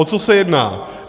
O co se jedná.